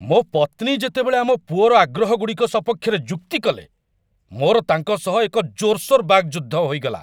ମୋ ପତ୍ନୀ ଯେତେବେଳେ ଆମ ପୁଅର ଆଗ୍ରହଗୁଡ଼ିକ ସପକ୍ଷରେ ଯୁକ୍ତି କଲେ, ମୋର ତାଙ୍କ ସହ ଏକ ଜୋରସୋର ବାକ୍ ଯୁଦ୍ଧ ହୋଇଗଲା।